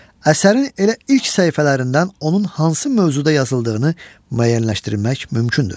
Əsərin elə ilk səhifələrindən onun hansı mövzuda yazıldığını müəyyənləşdirmək mümkündür.